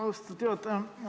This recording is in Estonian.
Austatud juhataja!